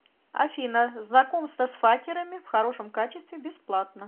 афина знакомство с факерами в хорошем качестве бесплатно